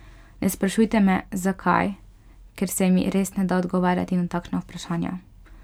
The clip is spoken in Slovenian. Ne sprašujte me, zakaj, ker se mi res ne da odgovarjati na takšna vprašanja.